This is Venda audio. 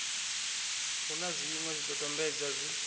hu na zwiṅwe zwidodombedzwa zwi